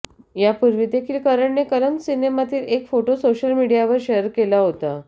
यापूर्वी देखील करणने कलंक सिनेमातील एक फोटो सोशल मीडियावर शेअर केला होता